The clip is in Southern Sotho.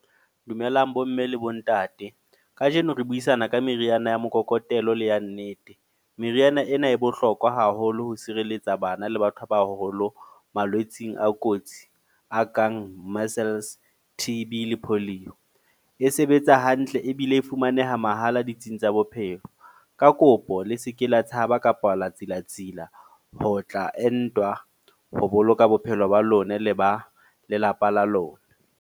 Dumelang bomme le bontate. Kajeno re buisana ka meriana ya mokokotelo le ya nnete. Meriana ena e bohlokwa haholo ho sireletsa bana le batho ba baholo, malwetseng a kotsi. A kang Measles, T_B le Polio. E sebetsa hantle ebile e fumaneha mahala ditsing tsa bophelo. Ka kopo le seke la tshaba kapa la tsilatsila ho tla entwa ho boloka bophelo ba lona le ba lelapa la lona.